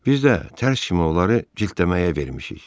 Biz də tərs kimi onları cildləməyə vermişik.